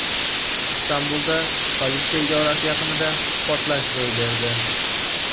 Istanbulda politsiya idorasi yaqinida portlash ro‘y berdi.